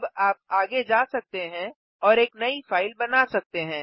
अब आप आगे जा सकते हैं और एक नई फाइल बना सकते हैं